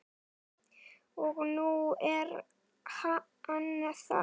Og nú er hann það.